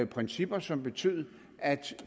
principper som betød at